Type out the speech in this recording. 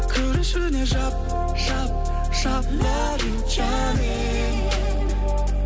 кір ішіне жап жап жап лав ю жаным